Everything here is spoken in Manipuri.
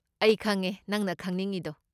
ꯑꯩ ꯈꯪꯉꯦ ꯅꯪꯅ ꯈꯪꯅꯤꯡꯉꯤꯗꯣ꯫